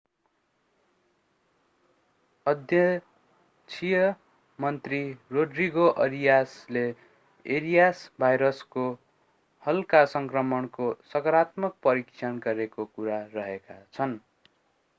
अध्यक्षीय मन्त्री रोड्रिगो अरियासले एरियास भाइरसको हल्का सङ्क्रमणको सकारात्मक परीक्षण गरिएको कुरा गरेका छन्‌।